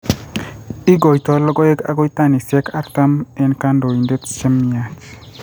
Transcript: Igoitoi logoek agoi tanisyek artam, eng' kandoindet che myach.